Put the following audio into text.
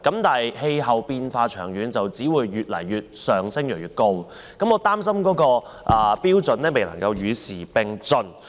然而，氣候變化長遠只會越來越嚴重，極端海水位只會越來越高，我擔心有關標準未能與時並進。